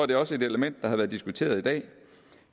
det også et element der har været diskuteret i dag